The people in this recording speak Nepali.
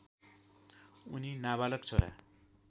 उनि नाबालक छोरा